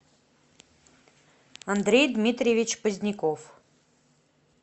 андрей дмитриевич поздняков